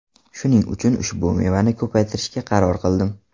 Shuning uchun ushbu mevani ko‘paytirishga qaror qildim.